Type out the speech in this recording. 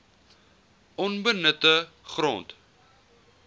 onbenutte grond